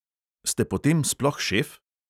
Ste potem sploh šef?!